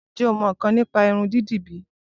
Ǹjẹ o mọ ńǹkan nípa Irun dídì bíí?